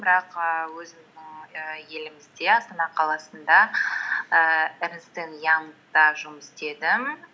бірақ і өзім і елімізде астана қаласында ііі эрнест энд янгта жұмыс істедім